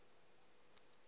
opleiding voo baan